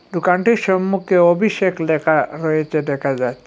দোকাটির সম্মুখে অভিষেক লেখা হয়েছে দেখা যাচ্ছে।